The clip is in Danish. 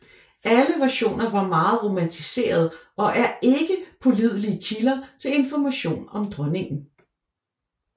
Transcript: Alle versioner var meget romantiserede og er ikke pålidelige kilder til information om dronningen